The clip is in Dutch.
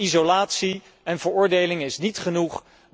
Maar isolatie en veroordeling is niet genoeg.